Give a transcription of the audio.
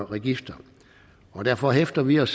registre derfor hæfter vi os